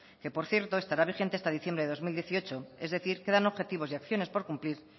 que por cierto estará vigente hasta diciembre de dos mil dieciocho es decir quedan objetivos y acciones por cumplir